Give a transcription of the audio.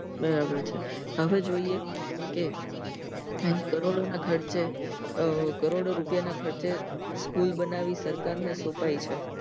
બરાબર છે હવે જોઈએ કે કરોડા ના ખર્ચે આ કરોડો રૂપિયા ના ખર્ચે સ્કૂલ બનાવી સરકાર ને સોપઈ છે